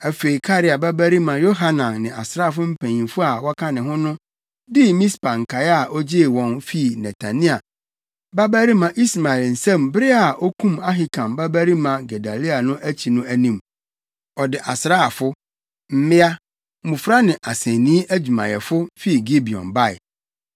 Afei Karea babarima Yohanan ne asraafo mpanyimfo a wɔka ne ho no dii Mispa nkae a ogyee wɔn fii Netania babarima Ismael nsam bere a okum Ahikam babarima Gedalia no akyi no anim: Ɔde asraafo, mmea, mmofra ne asennii adwumayɛfo, fii Gibeon bae.